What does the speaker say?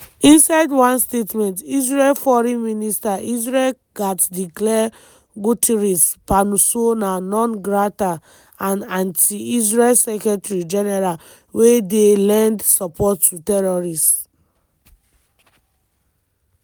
inside one statement israel foreign minister israel katz declare guterres persona non grata and "anti-israel secretary-general wey dey lend support to terrorists".